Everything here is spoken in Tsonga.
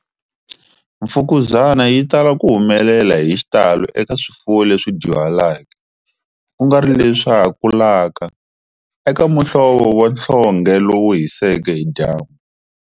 Mfukuzana yi tala ku humelela hi xitalo eka swifuwo leswi dyuhaleke, ku nga ri leswa ha kulaka, eka muhlovo wa nhlonghe lowu hiseke hi dyambu.